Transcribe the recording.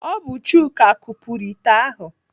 Ọ bụ Chuka kupuru ite ahụ?